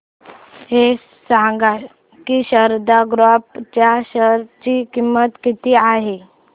हे सांगा की शारदा क्रॉप च्या शेअर ची किंमत किती आहे